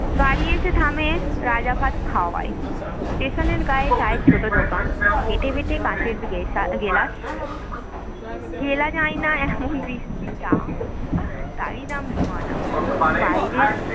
গাড়ি এসে থামে রাজাভাতখাওয়ার station এর গায়ে চায়ের ছোট দোকান বেঁটে বেঁটে কাচের গেলাগেলাস গেলা যায় না এমন বিশ্রী চা তার‌ই দাম দু-আনা বাইরের